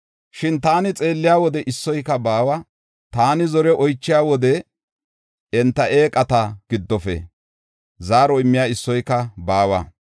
Shin taani xeelliya wode issoyka baawa; taani zore oychiya wode enta eeqata giddofe zaaro immiya issoyka baawa.